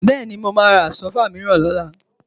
Bẹ́ẹ̀ni, mo máa ra Àsọ́fà mìíràn lọ́la